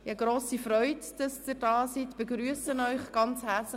Es freut mich sehr, dass Sie hier sind, und ich begrüsse Sie sehr herzlich.